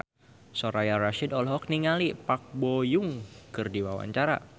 Soraya Rasyid olohok ningali Park Bo Yung keur diwawancara